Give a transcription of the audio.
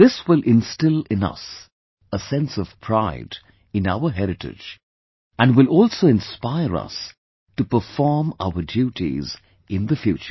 This will instill in us a sense of pride in our heritage, and will also inspire us to perform our duties in the future